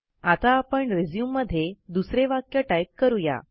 आता आपण रिझ्यूम मध्ये दुसरे वाक्य टाईप करू या